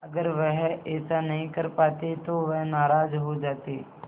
अगर वह ऐसा नहीं कर पाते तो वह नाराज़ हो जाते